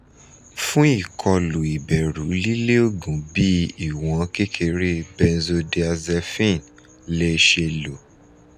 fun ikolu iberu lile oogun bi iwon kekere benzodiazepines le se lo